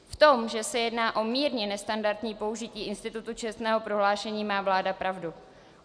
V tom, že se jedná o mírně nestandardní použití institutu čestného prohlášení, má vláda pravdu.